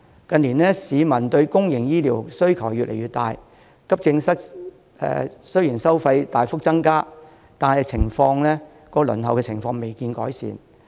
近年市民對公營醫療的需求越來越大，急症室收費雖然大幅提高，但輪候情況未見改善。